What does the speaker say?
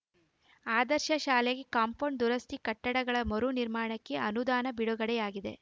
ಆದರ್ಶ ಶಾಲೆಗೆ ಕಾಂಪೌಂಡ್‌ ದುರಸ್ಥಿ ಕಟ್ಟಡಗಳ ಮರು ನಿರ್ಮಾಣಕ್ಕೆ ಅನುದಾನ ಬಿಡುಗಡೆಯಾಗಿದೆ